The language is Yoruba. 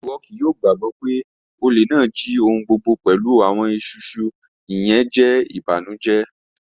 Iwọ kii yoo gbagbọ pe ole naa ji ohun gbogbo pẹlu awọn isusu, iyẹn jẹ ibanujẹ